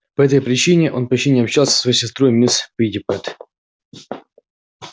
по этой причине он почти не общался со своей сестрой мисс питтипэт